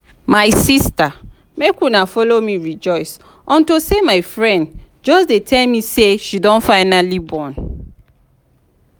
my sister make una follow me rejoice unto say my friend just dey tell me say she don finally born.